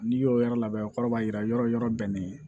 N'i y'o yɔrɔ labɛn o kɔrɔ b'a jira yɔrɔ yɔrɔ bɛnnen